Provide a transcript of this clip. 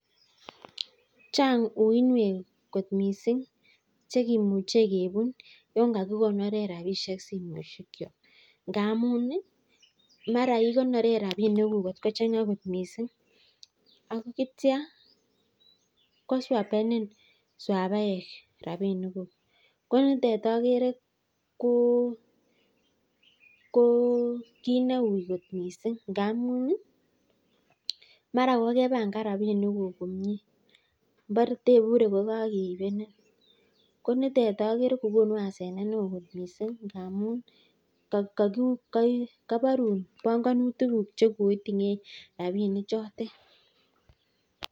Chang uiynwek kot mising che kimuche kebun yon kagikoneren rabishek simoishekyok, ngamun, mara igoneren rabinikuk kotko chang'a mising, ak kitya koswapenin swapaek rabinikuk ko nitet ogere ko kit neu kot mising. Ngamun mara kogepangan rabinikuk komie mbore teibure kogakeibenin ko nitet ogere ko konu hasenet neo kot mising ngamun koborun bongonutikuk che koiting'en rabinik chotet.